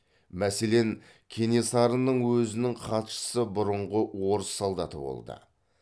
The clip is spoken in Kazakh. мәселен кенесарының өзінің хатшысы бұрынғы орыс солдаты болды